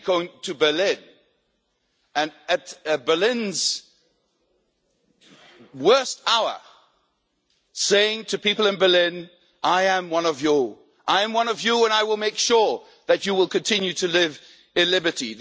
F. Kennedy going to Berlin and at Berlin's worst hour, saying to people in Berlin I am one of you, I am one of you and I will make sure that you will continue to live in liberty'.